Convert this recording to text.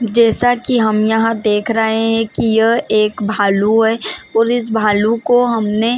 जैसा की हम यहाँ देख रहे है की यह एक भालू है और इस भालू को हमने--